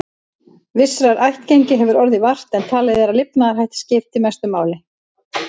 Vissrar ættgengi hefur orðið vart, en talið er að lifnaðarhættir skipti mestu máli.